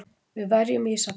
Við verjum Ísafjörð!